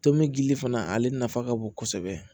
Tomi gili fana ale nafa ka bon kosɛbɛ